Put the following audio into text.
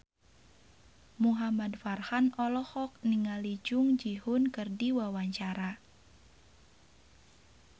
Muhamad Farhan olohok ningali Jung Ji Hoon keur diwawancara